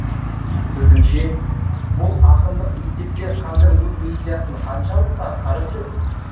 сіздіңше бұл ақындық мектептер қазір өз миссиясын қаншалықты атқарып жүр